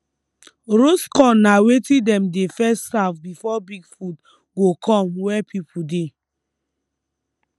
roast corn na wetin dem dey first serve before big food go come where people dey